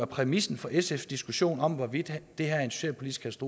præmissen for sfs diskussion om hvorvidt det her er en socialpolitisk